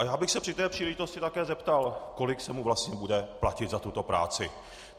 A já bych se při té příležitosti také zeptal, kolik se mu vlastně bude platit za tuto práci.